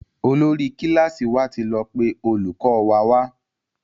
Olórí kílàsì wà tí lọ pé olùkó wa wá.